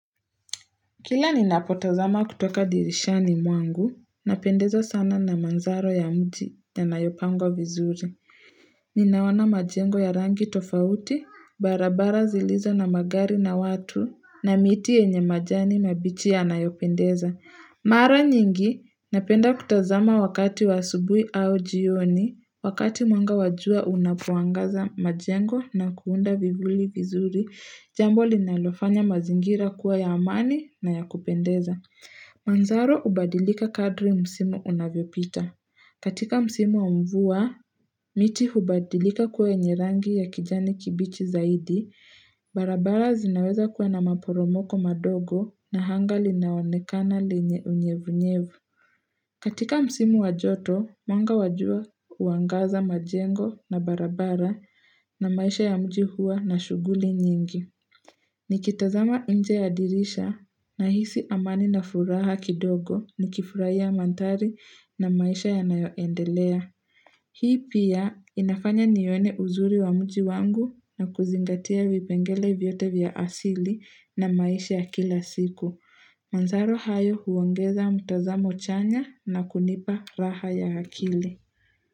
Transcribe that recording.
Kila ninapotazama kutoka dirishani mwangu, napendezwa sana na manzaro ya mti yanayopango vizuri. Ninaona majengo ya rangi tofauti, barabara zilizo na magari na watu, na miti yenye majani mabichi yanayopendeza. Mara nyingi, napenda kutazama wakati wa asubui au jioni, wakati mwanga wajua unapoangaza majengo na kuunda vivuli vizuri. Jambo linalofanya mazingira kuwa ya amani na ya kupendeza. Manzaro hubadilika kadri msimu unavyopita. Katika msimu wa mvua, miti hubadilika kuwa yenye rangi ya kijani kibichi zaidi. Barabara zinaweza kuwa na maporomoko madogo na anga linaonekana lenye unyevunyevu. Katika msimu wajoto, mwanga wajua huangaza majengo na barabara na maisha ya mji huwa na shughuli nyingi. Nikitazama nje ya dirisha na hisi amani na furaha kidogo ni kifurai ya manthari na maisha yanayoendelea. Hii pia inafanya nione uzuri wa mji wangu na kuzingatia vipengele vyote vya asili na maisha ya kila siku. Manzaro hayo huongeza mtazamo chanya na kunipa raha ya akili.